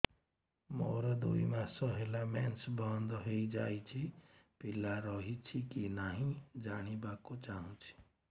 ମୋର ଦୁଇ ମାସ ହେଲା ମେନ୍ସ ବନ୍ଦ ହେଇ ଯାଇଛି ପିଲା ରହିଛି କି ନାହିଁ ଜାଣିବା କୁ ଚାହୁଁଛି